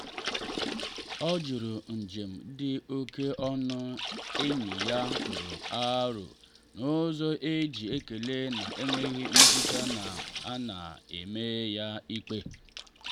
o jụrụ njem dị oke ọnụ enyi ya tụrụ aro n’ụzọ e ji ekele na enweghị mmetụta na a na-eme ya ikpe.